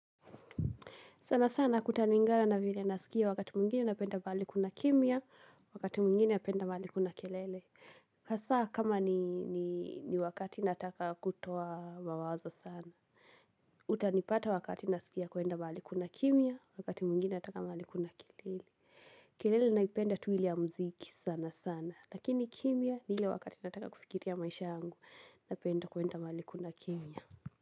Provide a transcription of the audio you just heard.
Sana sana kutalingana na vile nasikia wakati mwingine napenda pahali kuna kimya, wakati mwingine napenda mahali kuna kelele. Hasa kama ni wakati nataka kutoa mawazo sana, utanipata wakati nasikia kwenda mahali kuna kimya, wakati mwingine nataka mahali kuna kelele. Kelele naipenda tu ile ya muziki sana sana, lakini kimya ni ile wakati nataka kufikiria maisha yangu napenda kwenda mahali kuna kimya.